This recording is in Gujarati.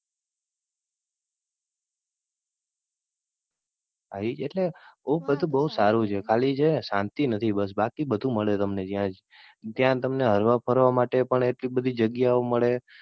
એટલે બઉ બધું સારું છે એટલે ખાલી છે ને શાંતિ નથી બસ બાકી બધું મળી રહે તમને ત્યાજ. ત્યાં તમને હરવા ફરવા માટે પણ એટલી બધી જગ્યા ઓ મળે